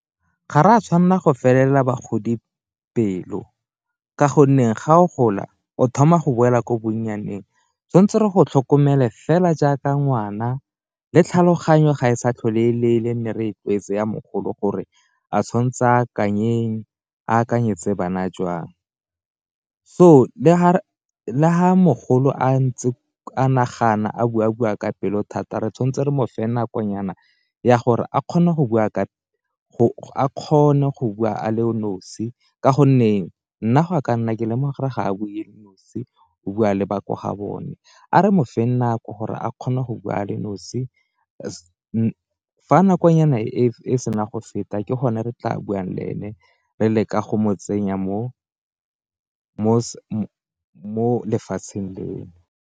Ga re a tshwanela go felela bagodi pelo ka gonne ga o gola o thoma go boela ko bonnyaneng, tshwantse re go tlhokomela fela jaaka ngwana le tlhaloganyo ga e sa tlhole e le e le e ne re tlwaetse ya mogolo gore a tshwantse a akanyeng akanyetse bana jwang. So le fa mogolo a ntse a nagana a bua-bua ka pelo thata re tshwanetse re mo fa nakonyana ya gore a kgone go bua a nosi ka gonne nna go a ka nna ke lemoga ga a bule nosi o bua le ba ko ga bone, a re mo feng nako gore a kgone go bua a le nosi , fa nakonyana e sena go feta ke gone re tla buang le ene re le ka go motsenya mo lefatsheng .